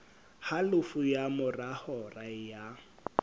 halofo ka mora hora ya